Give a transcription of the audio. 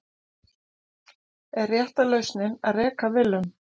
Er rétta lausnin að reka Willum?